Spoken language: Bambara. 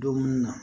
Dumuni na